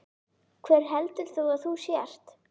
Hver heldur þú að þú sért?